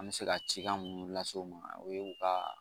An bɛ se ka cikan munnu lase u ma o ye u ka